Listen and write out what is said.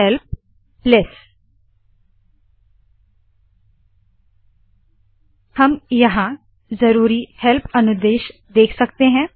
help less हम यहाँ ज़रूरी हेल्प अनुदेश देख सकते है